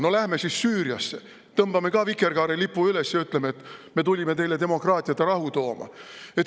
No lähme siis Süüriasse, tõmbame seal ka vikerkaarelippu üles ja ütleme, et me tulime teile demokraatiat ja rahu tooma!?